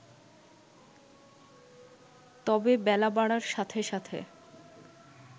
তবে বেলা বাড়ার সাথে সাথে